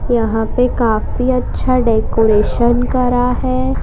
यहां पे काफी अच्छा डेकोरेशन करा है।